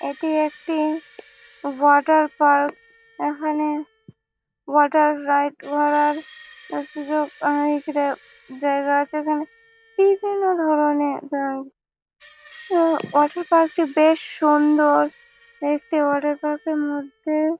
এটি একটি water park এখানে ওয়াটার রাইড করার যা সুযোগ ইকরে জায়গা আছে এখানে বিভিন্ন ধরনের রাইড । তো ওয়াটার পার্ক টি বেশ সুন্দর দেখতে ওয়াটার পার্ক -এর মধ্যে--